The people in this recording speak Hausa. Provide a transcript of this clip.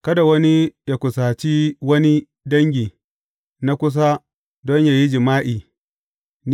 Kada wani ya kusaci wani dangi na kusa don yă yi jima’i.